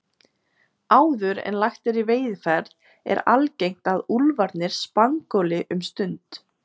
Áður en lagt er í veiðiferð er algengt að úlfarnir spangóli um stund.